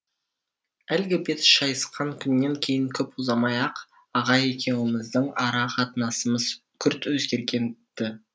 әлгі бет шайысқан күннен кейін көп ұзамай ақ аға екеуіміздің ара қатынасымыз күрт өзгерген ді